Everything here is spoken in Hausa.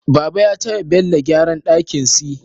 Baba ya taya Bello gyara dakin si